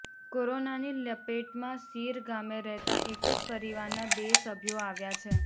કોરોનાની લપેટમાં સીર ગામે રહેતા એક જ પરિવારના બે સભ્યો આવ્યા છે